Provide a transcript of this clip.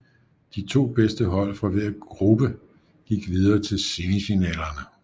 De to bedste hold fra hver gruppe gik videre til semifinalerne